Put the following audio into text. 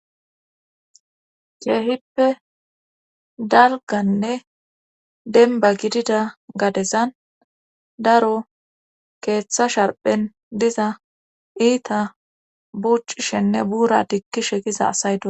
keehippe dalganne denba gidida gadezan daro keeththa sharphen diza iita bucishenne buura diggishe giza asay do.